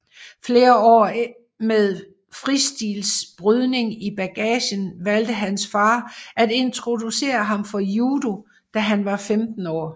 Efter flere år med fristilbrydning i bagagen valgte hans far at introducere ham for judo da han var 15 år